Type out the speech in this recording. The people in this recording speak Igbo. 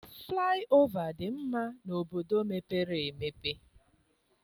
Flaị ova dị mma n'obodo mepere emepe.